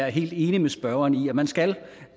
er helt enig med spørgeren i at man skal